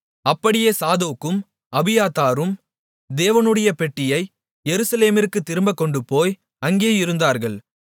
அப்படியே சாதோக்கும் அபியத்தாரும் தேவனுடைய பெட்டியை எருசலேமிற்குத் திரும்பக் கொண்டுபோய் அங்கே இருந்தார்கள்